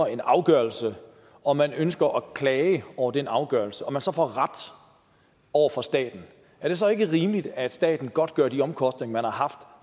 en afgørelse og man ønsker at klage over den afgørelse og man så får ret over for staten er det så ikke rimeligt at staten godtgør de omkostninger man har haft